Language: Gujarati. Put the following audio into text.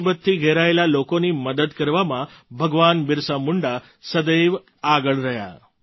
ગરીબ અને મુસીબતથી ઘેરાયેલા લોકોની મદદ કરવામાં ભગવાન બિરસા મુંડા સદૈવ આગળ રહ્યા